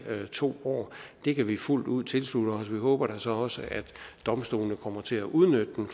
to år det kan vi fuldt ud tilslutte os vi håber da så også at domstolene kommer til at udnytte den